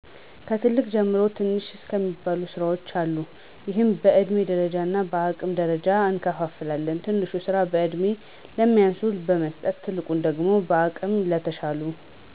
ከትልቅ ጀምሮ ትንሽ እስከሚባሉ ስራዎች አሉ ይህም በእድሜ ደረጃ እና በአቅም ደረጃዎች እንከፋፈላለን። ትንሹን ስራ በእድሜ ለሚያንሱት በመስጠት ትልቁን ደግሞ በአቅም ለተሻሉት።